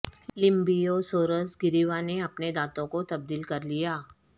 لیمبیوسورس گریوا نے اپنے دانتوں کو تبدیل کر لیا